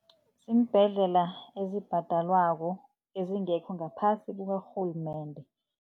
Iimbhedlela ezibhadelwako ezingekho ngaphasi karhulumende.